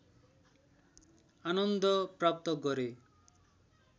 आनन्द प्राप्त गरे